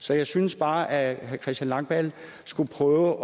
så jeg synes bare at herre christian langballe skulle prøve